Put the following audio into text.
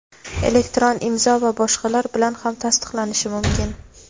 elektron imzo va boshqalar) bilan ham tasdiqlanishi mumkin.